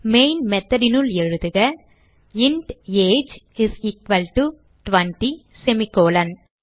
main method னுள் எழுதுக int age is equal to 20 semi colon